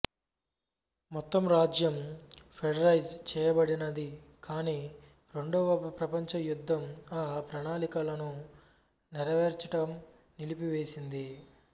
మొత్తం రాజ్యం ఫెడరైజ్ చేయబడినది కాని రెండవ ప్రపంచ యుద్ధం ఆ ప్రణాళికలను నెరవేర్చుటం నిలిపివేసింది